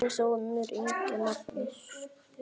Þinn sonur, Ingi Magnús.